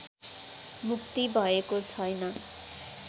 मुक्ति भएको छैन